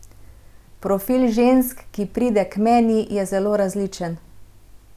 Profil žensk, ki pride k meni, je zelo različen.